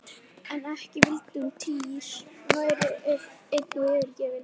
En ekki vildi hún að Týri væri einn og yfirgefinn!